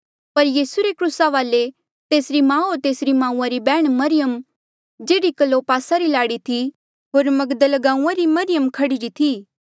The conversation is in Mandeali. पर यीसू रे क्रूसा वाले तेसरी माऊ होर तेसरी माऊआ री बैहण मरियम जेह्ड़ी क्लोपासा री लाड़ी थी होर मगदल गांऊँआं री मरियम खड़ी री थी